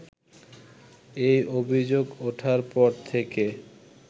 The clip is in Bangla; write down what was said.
এই অভিযোগ ওঠার পর থেকে